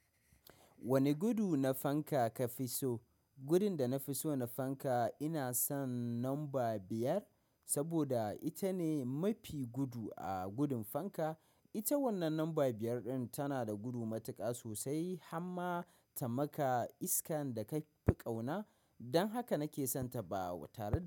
Wane gudu na fanka ka fi so? Gudun da na fi so na fanka ina son lamba biyar, saboda ita ne mafi gudu a gudun fanka. Ita wannan lamba biyar ɗin tana da gudu matuƙa sosai, amma ta maka iskan da ka fi ƙauna. Don haka nake son ta ba tare.